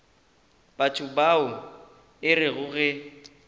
batho bao e rego ge